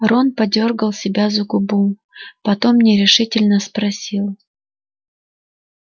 рон подёргал себя за губу потом нерешительно спросил